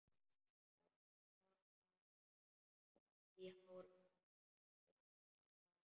Kraflar í hárunum einsog barn.